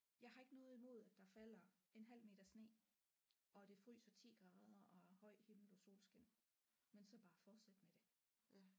Jeg har ikke noget imod at der falder en halv meter sne og det fryser 10 grader og er høj himmel og solskin men så bare fortsæt med det